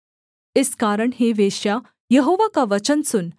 इस कारण हे वेश्या यहोवा का वचन सुन